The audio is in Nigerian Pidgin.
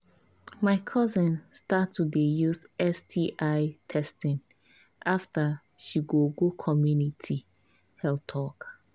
my cousin start to dey use sti testing after she go go community health talk